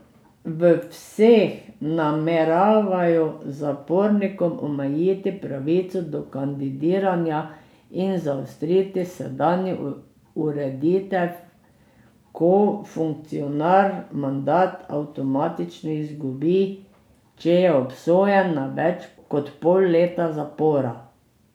V vseh nameravajo zapornikom omejiti pravico do kandidiranja in zaostriti sedanjo ureditev, ko funkcionar mandat avtomatično izgubi, če je obsojen na več kot pol leta zapora.